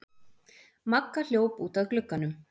Magga hljóp út að glugganum.